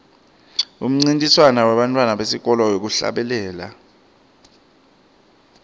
umncintiswano webantfwana besikolwa wekuhlabela